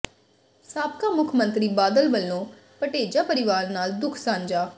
ਸਾਬਕਾ ਮੁੱਖ ਮੰਤਰੀ ਬਾਦਲ ਵੱਲੋਂ ਭਟੇਜਾ ਪਰਿਵਾਰ ਨਾਲ ਦੁੱਖ ਸਾਂਝਾ